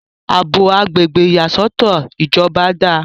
àbò agbègbè ìyàsọ́tọ̀ ìjọba dáa